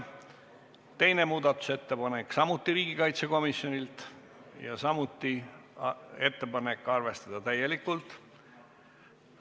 Teine muudatusettepanek on samuti riigikaitsekomisjonilt ja samuti on ettepanek arvestada täielikult.